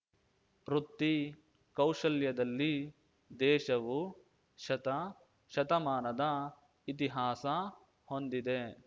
ವೃತ್ತಿ ಕೌಶಲ್ಯದಲ್ಲಿ ದೇಶವು ಶತ ಶತಮಾನದ ಇತಿಹಾಸ ಹೊಂದಿದೆ